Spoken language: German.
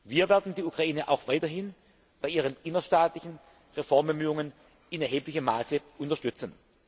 Wir werden die Ukraine auch weiterhin bei ihren innerstaatlichen Reformbemühungen in erheblichem Maße unterstützen.